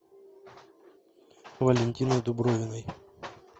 валентиной дубровиной